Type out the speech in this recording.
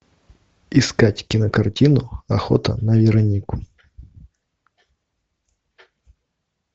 искать кинокартину охота на веронику